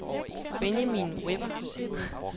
Benjamin Weber